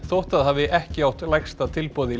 þótt það hafi ekki átt lægsta tilboð í